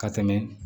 Ka tɛmɛ